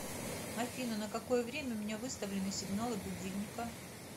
афина на какое время у меня выставлены сигналы будильника